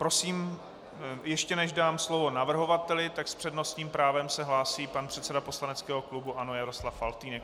Prosím, ještě než dám slovo navrhovateli, tak s přednostním právem se hlásí pan předseda poslaneckého klubu ANO Jaroslav Faltýnek.